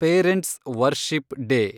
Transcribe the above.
parents' worship day